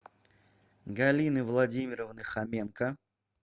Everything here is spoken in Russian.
галины владимировны хоменко